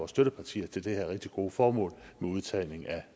støttepartier til det her rigtig gode formål med udtagning af